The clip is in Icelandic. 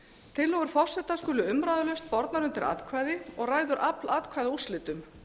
tillögur forseta skulu umræðulaust bornar undir atkvæði og ræður afl atkvæða úrslitum